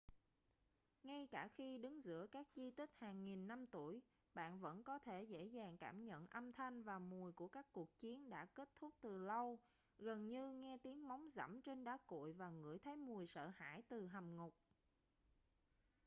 ngay cả khi đứng giữa các di tích hàng nghìn năm tuổi bạn vẫn có thể dễ dàng cảm nhận âm thanh và mùi của các cuộc chiến đã kết thúc từ lâu gần như nghe tiếng móng giẫm trên đá cuội và ngửi thấy mùi sợ hãi từ hầm ngục